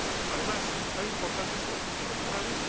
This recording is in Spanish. Además, hay importantes conflictos regionales.